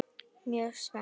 Mjög spennt.